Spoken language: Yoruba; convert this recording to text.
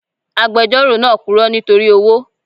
Agbejoro náà puro nítorí owó.